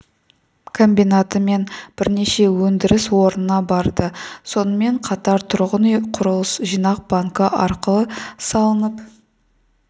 комбинаты мен бірнеше өндіріс орнына барды сонымен қатар тұрғын үй құрылыс жинақ банкі арқылы салынып